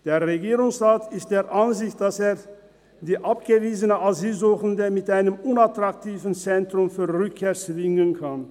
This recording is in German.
Der Regierungsrat ist der Ansicht, dass er die abgewiesenen Asylsuchenden mit einem unattraktiven Zentrum zur Rückkehr zwingen kann.